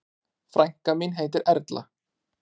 Frænka mín heitir Erla.